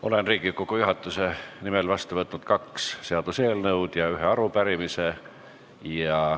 Olen Riigikogu juhatuse nimel võtnud vastu kaks seaduseelnõu ja ühe arupärimise.